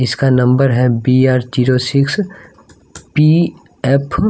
इसका नंबर है B R zero six P F --